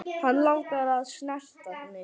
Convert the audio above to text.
Hann langar að snerta mig.